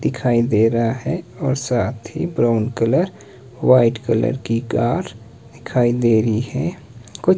दिखाई दे रहा है और साथ ही ब्राउन कलर व्हाइट कलर की कार दिखाई दे रही है कुछ--